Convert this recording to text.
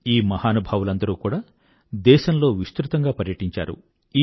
ఈ మహానుభావులందరూ కూడా దేశంలో విస్తృతంగా పర్యటించారు